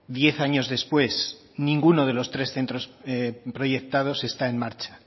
diez años después ninguno de los tres centros proyectados está en marcha